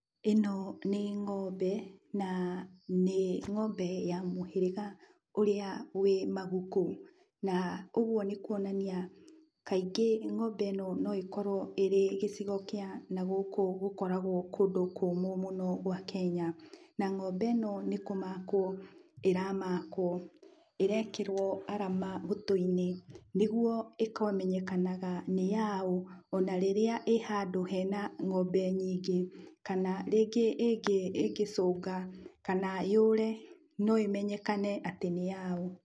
Ĩno nĩ ng'ombe na nĩ ng'ombe ya mũhĩrĩga ũrĩa wĩ maguku. Na ũgwo nĩ kũonania kaingĩ ng'ombe ĩno no ĩkorwo ĩrĩ gĩcigo kĩa nagũkũ gũkoragwo kũndũ kũũmũ gwa Kenya. Na ng'ombe ĩno nĩ kũmakwo ĩramakwo. Ĩrekĩrwo arama gũtũ-inĩ nĩgwo ĩkamenyekanaga nĩyaũ ona rĩrĩa ĩ handũ hena ng'ombe nyingĩ, kana rĩngĩ ĩngĩ, ingĩcũnga kana yũre no ĩmenyekane atĩ nĩyaũ.